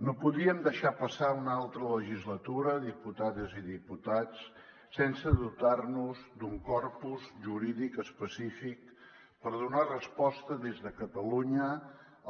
no podíem deixar passar una altra legislatura diputades i diputats sense dotar nos d’un corpus jurídic específic per donar resposta des de catalunya